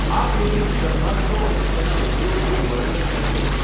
આ પેઢીની દરખાસ્તો અને તેના ઉદ્યોગનું વર્ણન કરશે.